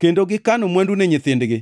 kendo gikano mwandu ne nyithindgi.